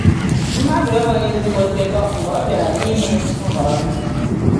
Mmadu enweghị ezigbo ndekọ mgbe ọ bịara n’ime nhọrọ ndụ.